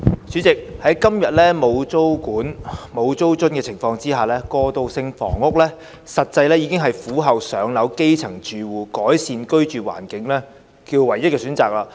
主席，在今天沒有租管及租津的情況下，過渡性房屋實際上是苦候"上樓"的基層住戶改善居住環境的唯一選擇。